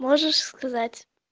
можешь сказать